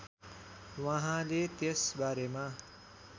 वहाँले त्यस बारेमा